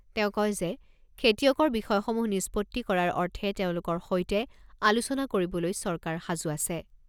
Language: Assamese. তেওঁ কয় যে, খেতিয়কৰ বিষয়সমূহ নিষ্পত্তি কৰাৰ অৰ্থে তেওঁলোকৰ সৈতে আলোচনা কৰিবলৈ চৰকাৰ সাজু আছে।